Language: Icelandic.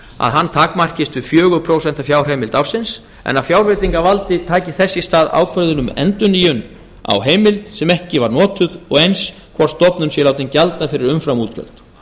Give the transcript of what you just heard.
að hann takmarkist við fjögur prósent fjárheimilda ársins en að fjárveitingavaldið taki þess í stað ákvörðun um endurnýjun á heimild sem ekki var notuð og eins hvort stofnun sé látin gjalda fyrir umframútgjöld